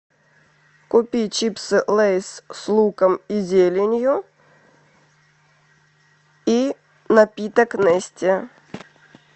купи чипсы лейс с луком и зеленью и напиток нести